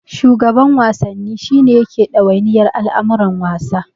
Shugaban Wasanni shi ne yake ɗawainiyar al'amuran wasa.